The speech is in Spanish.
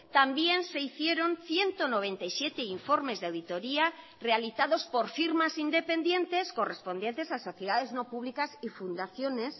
también se hicieron ciento noventa y siete informes de auditoría realizados por firmas independientes correspondientes a sociedades no públicas y fundaciones